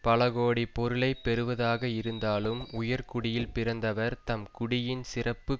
பல கோடி பொருளை பெறுவதாக இருந்தாலும் உயர்குடியில் பிறந்தவர் தம் குடியின் சிறப்பு